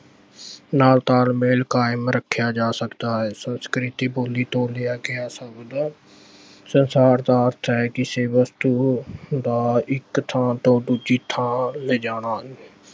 ਨਾਲ ਤਾਲਮੇਲ ਕਾਇਮ ਰੱਖਿਆ ਜਾ ਸਕਦਾ ਹੈ ਸੰਸਕ੍ਰਿਤੀ ਬੋਲੀ ਤੋਂ ਲਿਆਕੇ ਸੰਸਾਰ ਦਾ ਅਰਥ ਹੈ ਕਿ ਕਿਸੇ ਵਸਤੂ ਨੂੰ ਦਾ ਇੱਕ ਥਾਂ ਤੋਂ ਦੂਜੀ ਥਾਂ ਲਿਜਾਣਾ